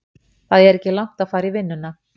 Það er ekki langt að fara í vinnuna.